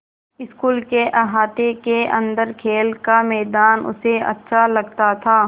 school के अहाते के अन्दर खेल का मैदान उसे अच्छा लगता था